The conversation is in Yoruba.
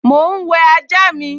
Mò ún wẹ ajá mi